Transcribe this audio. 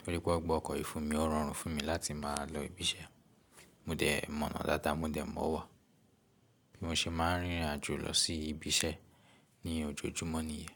Torí pé won gbe ọkọ̀ yii fúnmi, o rọrùn fún mi láti máa lọ ibi iṣẹ́. Mo dẹ̀ mọ̀nà dáadáa, mo dẹ̀ mọ̀ wà bí mo ṣe máa ń rìn irìn àjò lọ sí ibi iṣẹ́ ní ojoojúmọ́ nìyẹn.